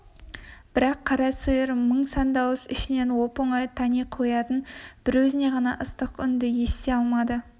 бірақ қара сиыр мың сан дауыс ішінен оп-оңай тани қоятын бір өзіне ғана ыстық үнді ести алмады